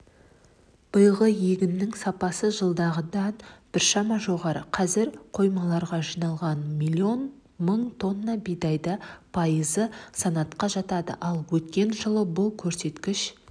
биылғы егіннің сапасы жылдағыдан біршама жоғары қазір қоймаларға жиналған млн мың тонна бидайдың пайызы санатқа жатады ал өткен жылы бұл көрсеткіш